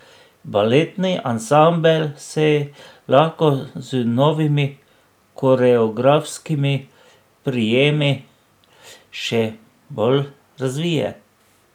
Baletni ansambel se lahko z novimi koreografskimi prijemi še bolj razvije.